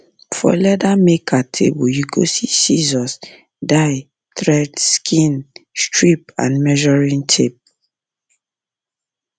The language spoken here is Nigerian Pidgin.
for leather maker table you go see scissors dye thread skin strip and measuring tape